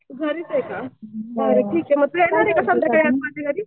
तू घरीच ये का? मग ठीक ये